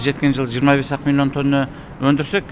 жеткен жылы жиырма бес ақ миллион тонна өндірсек